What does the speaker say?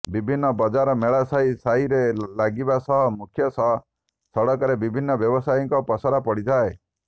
ବିଭାନ୍ନ ବଜାର ମେଳା ସାହି ସାହିରେ ଲାଗିବା ସହ ମୁଖ୍ୟ ସଡକରେ ବିଭିନ୍ନ ବ୍ୟବସାୟୀକ ପସରା ପଡିଥାଏ